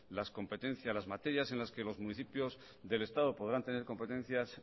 las competencias las materias en las que los municipios del estado podrán tener competencias